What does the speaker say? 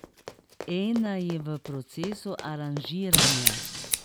Ena je v procesu aranžiranja.